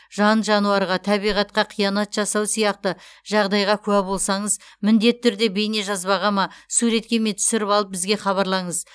жан жануарға табиғатқа қиянат жасау сияқты жағдайға куә болсаңыз міндетті түрде бейнежазбаға ма суретке ме түсіріп алып бізге хабарлаңыз